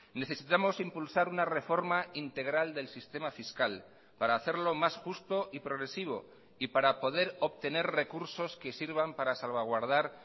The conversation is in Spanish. necesitamos impulsar una reforma integral del sistema fiscal para hacerlo más justo y progresivo y para poder obtener recursos que sirvan para salvaguardar